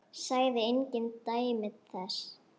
Sagði engin dæmi þess.